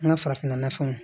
An ka farafinna fɛnw